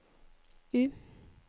U